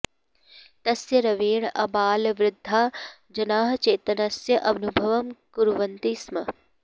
तस्य रवेण आबालवृद्धाः जनाः चेतनस्य अनुभवं कुर्वन्ति स्म